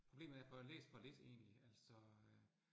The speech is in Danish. Problemet er, jeg får læst for lidt egentlig, altså øh